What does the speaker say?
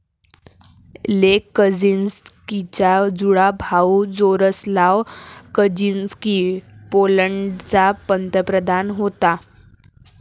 लेक कझिन्स्कीचा जुळा भाऊ जारोस्लाव कझिन्स्की पोलंडचा पंतप्रधान होता.